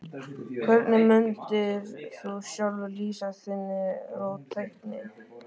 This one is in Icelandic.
Hvernig mundir þú sjálfur lýsa þinni róttækni?